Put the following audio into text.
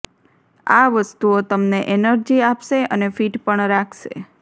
આ વસ્તુઓ તમને એનર્જી આપશે અને ફિટ પણ રાખશે